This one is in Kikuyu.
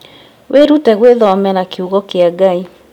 Wĩrute gwĩthomera kiugo kĩa Ngai